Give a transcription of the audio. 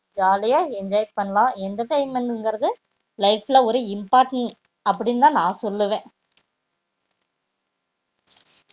jolly யா enjoy பண்ணலாம் entertainment இங்கர்து life ல ஒரு important அப்டின் தா னா சொல்லுவா